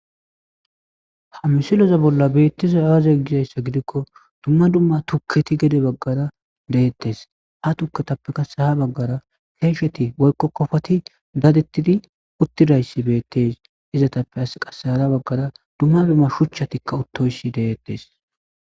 ha misiloza bolla beettiza aazey gizayssa gidikko dumma dumma tukketi gede baggara deettes ha tuketappe kase ha baggara keesheti woykko kofati dadettidi uttidayssi beettes izatappe as qasehara baggara dumma dumma shuchchatikka uttoysi deyettes